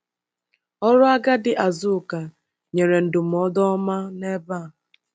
Ọrụ agadi Azụka nyere ndụmọdụ ọma n’ebe a.